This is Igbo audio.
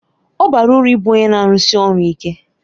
Ọ bara uru ịbụ onye na-arụsi ọrụ ike